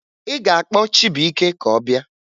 Ị ga-akpọ Chibuike ka ọ bịa!